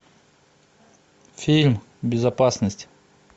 фильм безопасность